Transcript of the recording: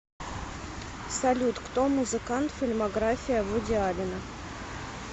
салют кто музыкант фильмография вуди аллена